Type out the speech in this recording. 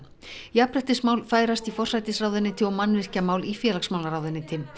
jafnréttismál færast í forsætisráðuneyti og mannvirkjamál í félagsmálaráðuneyti